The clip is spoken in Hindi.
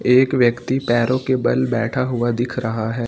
एक व्यक्ति पैरों के बल बैठा हुआ दिख रहा है।